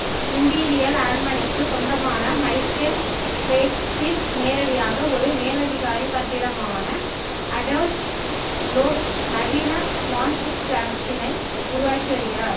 imperial அரண்மனைக்குச் சொந்தமான Michael பிளேட்ச்சில் நேரடியாக ஒரு மேலதிகாரி கட்டிடமான அடோல்ப் லோஸ் நவீன மான்ஸ்டிராசிட்டினை உருவாக்கி வருகிறார்